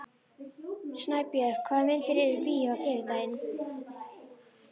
Snæbjörg, hvaða myndir eru í bíó á þriðjudaginn?